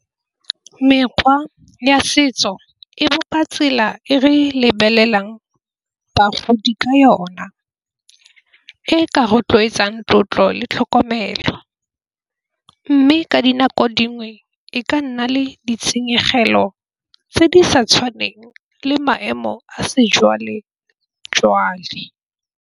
Mekgwa ya setso e bopa tsela e re lebelelang bagodi ka yona. E ka rotloetsang tlotlo le tlhokomelo mme ka dinako dingwe e ka nna le ditshenyegelo tse di sa tshwaneng le maemo a sejwale-jwale.